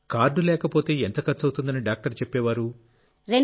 card లేకపోతే ఎంత ఖర్చవుతుందని డాక్టర్ చెప్పేవారు